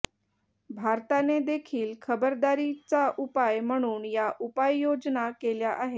भारताने देखील खबरदारीचा उपाय म्हणून या उपाययोजना केल्या आहेत